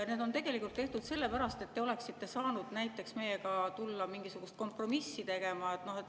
Need on tegelikult tehtud sellepärast, et te oleksite saanud näiteks meiega tulla mingisugust kompromissi tegema.